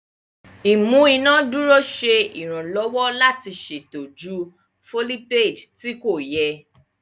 Imú inádúró ṣe iranlọwọ láti ṣètò jù foliteji tí kò yẹ.